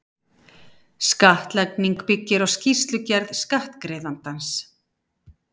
Skattlagning byggir á skýrslugerð skattgreiðandans.